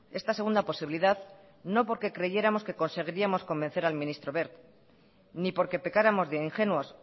esta segunda posibilidad no porque creyéramos que conseguiríamos convencer al ministro wert ni porque pecáramos de ingenuos